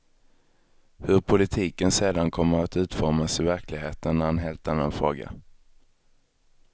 Hur politiken sedan kommer att utformas i verkligheten är en helt annan fråga.